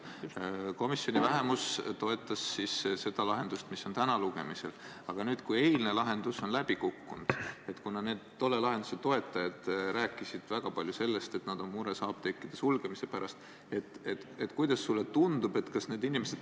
Võime minna läbirääkimiste juurde.